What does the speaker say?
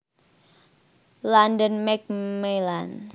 London Macmillan